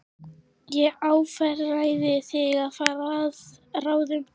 Ég afréð því að fara að ráðum